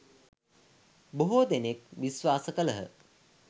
බොහෝ දෙනෙක් විශ්වාස කළහ.